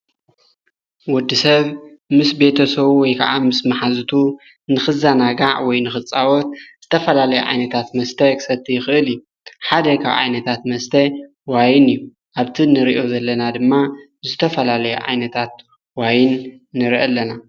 ወዲ ሰብ ምስ ቤተሶዉ ወይ ከዓ ምስ መሓዝቱ ንኽዛናጋዕ ወይ ንኽጻወት ዝተፈላለይ ዓይነታት መስተይ ኽሰቲ ይኽእል እዩ ሓደ ኻብ ዓይነታት መስተ ዋይን እዩ ኣብቲን ንርእዮ ዘለና ድማ ዝተፈላለየ ዓይነታት ዋይን ንርኢ ኣለና።